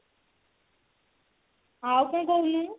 ଆଉ କଣ କହୁନୁ